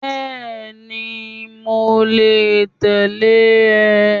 Bẹ́ẹ̀ni, mo lè tẹ̀lé rẹ